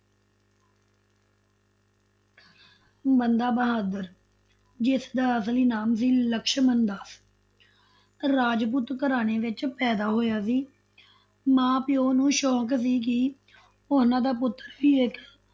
ਬੰਦਾ ਬਹਾਦਰ, ਜਿਸਦਾ ਅਸਲੀ ਨਾਮ ਸੀ ਲਛਮਣ ਦਾਸ ਰਾਜਪੂਤ ਘਰਾਣੇ ਵਿਚ ਪੈਦਾ ਹੋਇਆ ਸੀ ਮਾਂ- ਪਿਓ ਨੂੰ ਸ਼ੋਕ ਸੀ ਕਿ ਉਨ੍ਹਾ ਦਾ ਪੁੱਤਰ ਵੀ ਇਕ